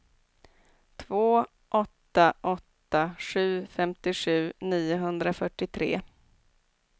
två åtta åtta sju femtiosju niohundrafyrtiotre